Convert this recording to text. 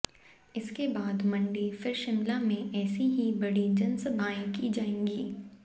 इसके बाद मंडी फिर शिमला में ऐसी ही बड़ी जनसभाएं की जाएंगी